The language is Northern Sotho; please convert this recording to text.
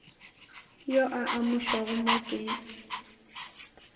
yo a amušwago mo ke